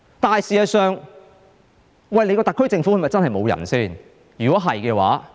可是，事實上，特區政府是否真的沒有人才呢？